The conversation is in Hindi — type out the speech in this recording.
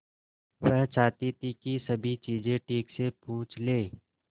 वह चाहती थी कि सभी चीजें ठीक से पूछ ले